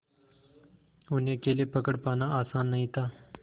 उन्हें अकेले पकड़ पाना आसान नहीं था